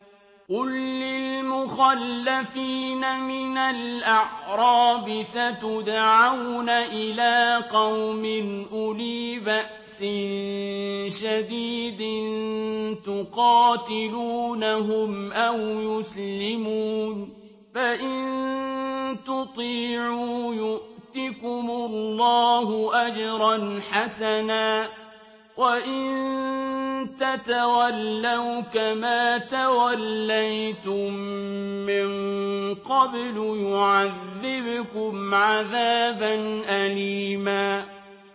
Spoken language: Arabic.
قُل لِّلْمُخَلَّفِينَ مِنَ الْأَعْرَابِ سَتُدْعَوْنَ إِلَىٰ قَوْمٍ أُولِي بَأْسٍ شَدِيدٍ تُقَاتِلُونَهُمْ أَوْ يُسْلِمُونَ ۖ فَإِن تُطِيعُوا يُؤْتِكُمُ اللَّهُ أَجْرًا حَسَنًا ۖ وَإِن تَتَوَلَّوْا كَمَا تَوَلَّيْتُم مِّن قَبْلُ يُعَذِّبْكُمْ عَذَابًا أَلِيمًا